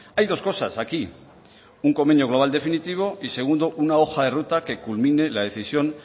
hay dos cosas aquí un convenio global definitivo y segundo una hoja de ruta que culmine la decisión